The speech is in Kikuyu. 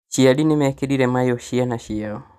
Aciari nĩmekĩrire mayũ ciana ciao